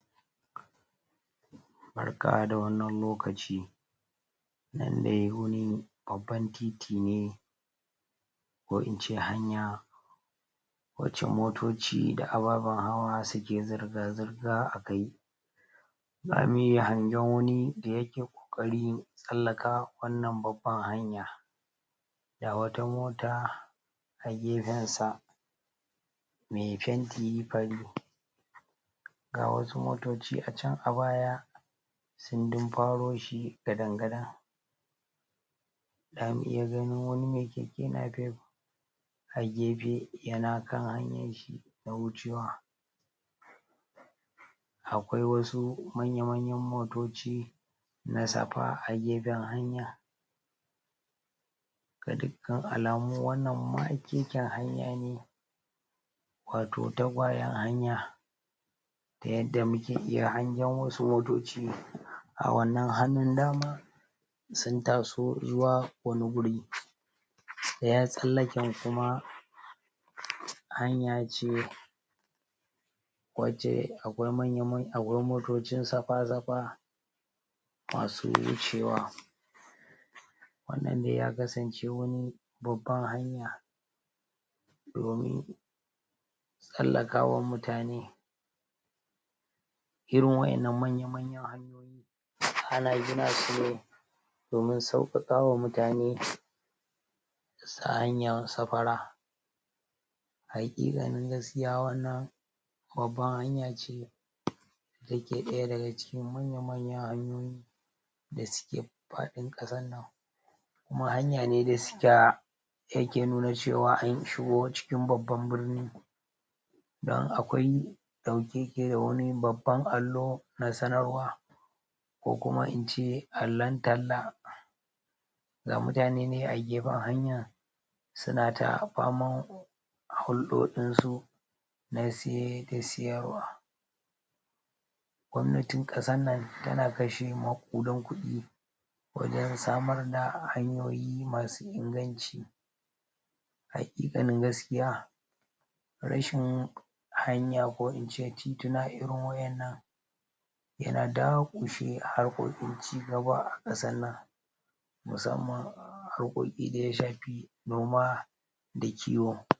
Barka da wannan lokac, nandai wani babban titi ne, ko ince hanya wacce motoci da ababen hawa suke zirga zirga a kai zamu iya hangen wani da yake kokarin tsallakawa wannnan babbar hanya, ga wata mota a gefensa mai fenti fari, ga wasu motoci a can a baya sun dumfaro shi gadan-gadan zamu iya ganin wani mai keke napep a gefe, yana kan hanyanshi na wucewa akwai wasu manya manyan motoci na safa agefen hanya ga dukkan alamu wannnan makeken hanya ne wato tagwayen hanya, ta yadda muke iya hangen wasu motoci a wannan hanun dama sun taso zuwa wani wuri ɗayan tsallaken kuma hanya ce wacce akwai manya manyan motocin safa safa masu wucewa wannan ne dai ya kasance wani babban hanya domin tsallakawan mutane, irin wayan nan manya manyan hanyoyin ana gina sune domin sauƙaƙawa mutane su hanyan safara a haƙiƙanin gaskiya wannan babban hayan ce da ke daya daga cikin manya manyan hanyoyi da suke fadin kasar nan kuma sukira yake nuna cewa anshigo babbar birni don akwai dauke ya yake babban allo na sanarwa ko kuma ince allon talla ga mutane nan agefen hanya suna ta faman hulɗoɗinsu na siye da siyarwa. Gobnatin kasan nan tana kashe maƙuden kudi wajen samar da hanyoyi masu inganci haqiqanin gaskiya rashin hanya ko ince tituna irin wa'yan nan yana daƙushe hanyoyin cigaba a kasan nan, musamman a harkokin da yashafi noma da kiwo.